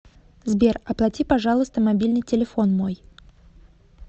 сбер оплати пожалуйста мобильный телефон мой